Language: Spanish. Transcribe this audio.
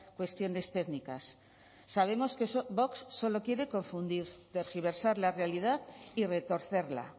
cuestiones técnicas sabemos que vox solo quiere confundir tergiversar la realidad y retorcerla